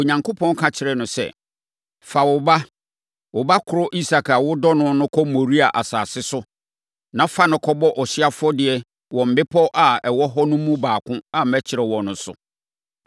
Onyankopɔn ka kyerɛɛ no sɛ, “Fa wo ba, wo ba korɔ Isak a wodɔ no no kɔ Moria asase so, na fa no kɔbɔ ɔhyeɛ afɔdeɛ wɔ mmepɔ a ɛwɔ hɔ no mu baako a mɛkyerɛ wo no so.”